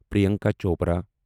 Priyanka Chopra